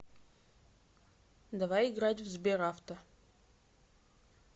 давай играть в сберавто